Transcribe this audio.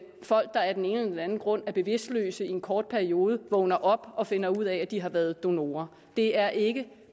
folk der af den ene eller anden grund er bevidstløse i en kort periode vågne op og finde ud af at de har været donorer det er ikke